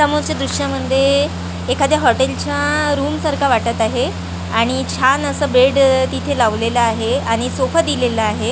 समोरच्या दृश्यामध्ये एखाद्या हॉटेलच्या रूमसारखा वाटत आहे आणि छान असं बेड तिथे लावलेलं आहे आणि सोफा दिलेला आहे .